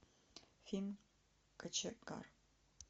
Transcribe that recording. фильм кочегар